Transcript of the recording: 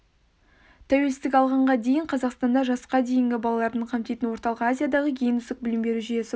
тәуелсіздік алғанға дейін қазақстанда жасқа дейінгі балалардың қамтитын орталық азиядағы ең үздік білім беру жүйесі болды